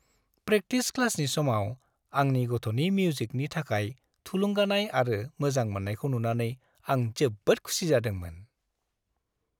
Practice क्लासनि समाव आंनि गथ'नि मिउजिकनि थाखाय थुलुंगानाय आरो मोजां मोन्नायखौ नुनानै आं जोबोद खुसि जादोंमोन।